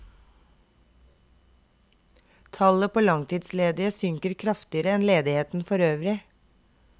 Tallet på langtidsledige synker kraftigere enn ledigheten for øvrig.